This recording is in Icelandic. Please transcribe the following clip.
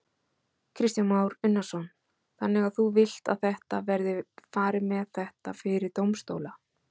Kristján Már Unnarsson: Þannig að þú vilt að þetta verði farið með þetta fyrir dómstóla?